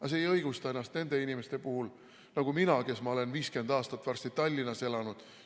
Aga see ei õigusta ennast inimeste puhul nagu mina, kes ma olen varsti 50 aastat Tallinnas elanud.